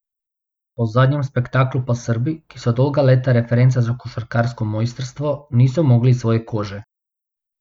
Po zadnjem spektaklu pa Srbi, ki so dolga leta referenca za košarkarsko mojstrstvo, niso mogli iz svoje kože.